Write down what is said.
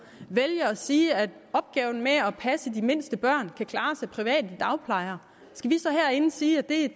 vælger at sige at opgaven med at at passe de mindste børn kan klares af private dagplejere skal vi så herinde sige at det